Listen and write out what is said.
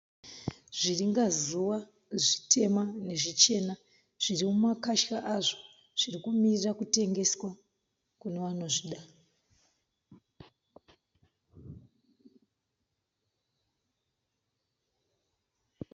Zviringa zuva zvitema nezvichena zviri mumakasha azvo zviri kumirira kutengeswa kune vanozvida.